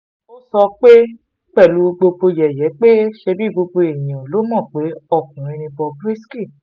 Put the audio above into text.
ó sọ ọ́ pẹ̀lú yẹ̀yẹ́ pé ṣebí gbogbo èèyàn ló mọ̀ pé ọkùnrin ni bob risky